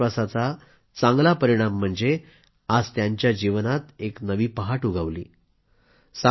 आणि याच विश्वासाचा चांगला परिणाम म्हणजे आज त्यांच्या जीवनामध्ये एक नवी पहाट उगवली